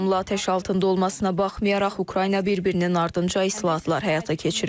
Davamlı atəş altında olmasına baxmayaraq, Ukrayna bir-birinin ardınca islahatlar həyata keçirir.